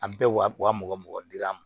A bɛɛ wa mugan mugan dir'a ma